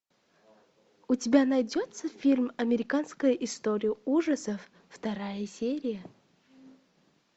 у тебя найдется фильм американская история ужасов вторая серия